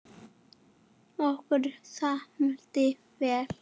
Okkur samdi vel.